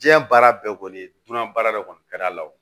Diɲɛ baara bɛɛ kɔni dunan baara de kɔni ka d'a la wo